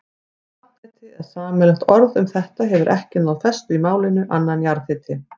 Safnheiti eða sameiginlegt orð um þetta hefur ekki náð festu í málinu, annað en jarðhiti.